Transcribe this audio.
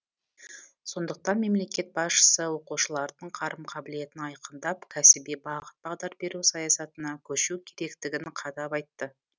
сондықтан мемлекет басшысы оқушылардың қарым қабілетін айқындап кәсіби бағыт бағдар беру саясатына көшу керектігін қадап айтты